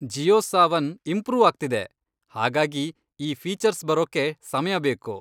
Jio Saavn improve ಆಗ್ತಿದೆ, ಹಾಗಾಗಿ ಈ ಫೀಚರ್ಸ್ ಬರೋಕ್ಕೆ ಸಮಯ ಬೇಕು.